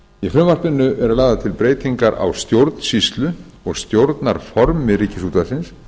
í frumvarpinu eru lagðar til breytingar á stjórnsýslu og stjórnarformi ríkisútvarpsins